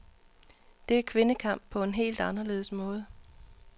Det er kvindekamp på en helt anderledes måde.